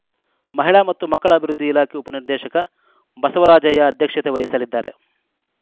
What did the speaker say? ಮಹಿಳಾ ಮತ್ತು ಮಕ್ಕಳ ಅಭಿವೃದ್ಧಿ ಇಲಾಖೆ ಉಪನಿರ್ದೇಶಕ ಬಸವರಾಜಯ್ಯ ಅಧ್ಯಕ್ಷತೆ ವಹಿಸಲಿದ್ದಾರೆ